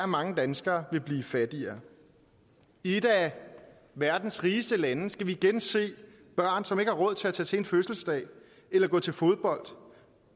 mange danskere vil blive fattigere i et af verdens rigeste lande skal vi igen se børn som ikke har råd til at tage til fødselsdag eller gå til fodbold